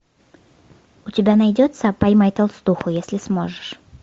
у тебя найдется поймай толстуху если сможешь